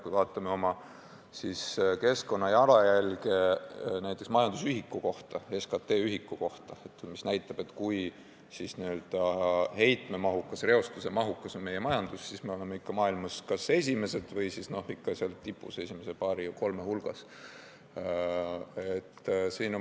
Kui me vaatame oma keskkonna jalajälge, näiteks majandusühiku kohta, SKT ühiku kohta, mis näitab, kui heitme- ja reostusemahukas on meie majandus, siis me oleme maailmas kas esimesed või ikka seal tipus, esimese paari-kolme hulgas.